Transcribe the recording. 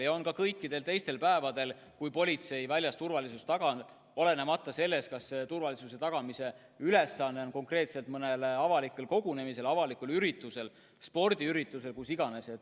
Need on kasutuses ka kõikidel teistel päevadel, kui politsei väljas turvalisust tagab, olenemata sellest, kas turvalisus tuleb tagada konkreetselt mõnel avalikul kogunemisel või muul avalikul üritusel, näiteks spordiüritusel – kus iganes.